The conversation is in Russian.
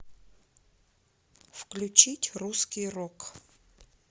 включить русский рок